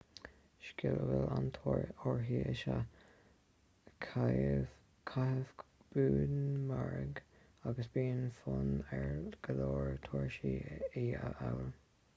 scil a bhfuil an-tóir uirthi is ea caitheamh búmaraing agus bíonn fonn ar go leor turasóirí í a fhoghlaim